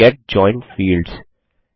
gate joined fields